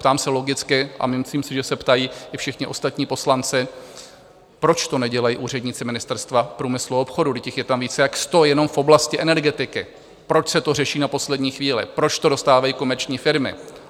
Ptám se logicky a myslím si, že se ptají i všichni ostatní poslanci, proč to nedělají úředníci Ministerstva průmyslu a obchodu, vždyť jich je tam více jak sto jenom v oblasti energetiky, proč se to řeší na poslední chvíli, proč to dostávají komerční firmy.